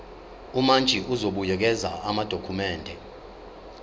umantshi uzobuyekeza amadokhumende